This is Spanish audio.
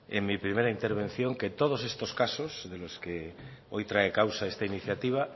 en mi primera intervención que todos estos casos de los que hoy trae causa esta iniciativa